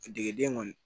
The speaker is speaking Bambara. Degeden kɔni